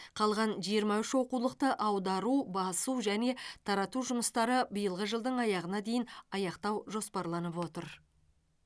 қалған жиырма үш оқулықты аудару басу және тарату жұмыстары биылғы жылдың аяғына дейін аяқтау жоспарланып отыр